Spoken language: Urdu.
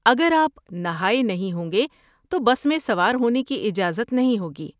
اگر آپ نہائے نہیں ہوں گے تو بس میں سوار ہونے کی اجازت نہیں ہوگی۔